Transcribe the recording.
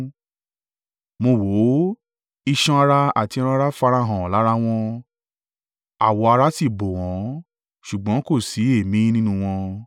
Mo wò ó, iṣan ara àti ẹran-ara farahàn lára wọn, awọ ara sì bò wọ́n, ṣùgbọ́n kò sí èémí nínú wọn.